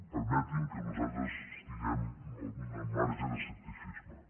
permeti’m que nosaltres tinguem un marge d’escepticisme